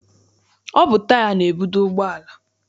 Ọ bụ taya na-ebudo ụgbọala.